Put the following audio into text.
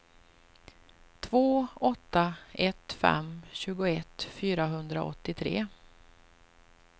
två åtta ett fem tjugoett fyrahundraåttiotre